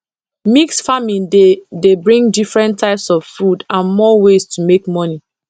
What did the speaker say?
mix farming dey dey bring different types of food and more ways to make money